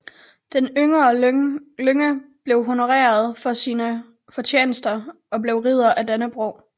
Den yngre Lynge blev honoreret for sine fortjenester og blev Ridder af Dannebrog